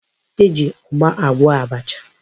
E ji ugba agwo abacha.